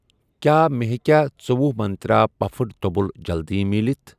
کیٛاہ مےٚ ہیٚکیٛاہ ژٗۄہُ منٛترٛا پَفڈ توٚمُل جلدِی مِلِتھ؟